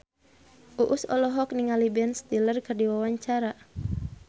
Uus olohok ningali Ben Stiller keur diwawancara